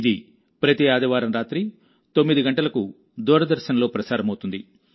ఇది ప్రతి ఆదివారం రాత్రి 9 గంటలకు దూరదర్శన్లో ప్రసారమవుతుంది